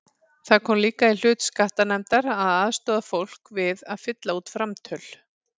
Það kom líka í hlut skattanefndar að aðstoða fólk við að fylla út framtöl.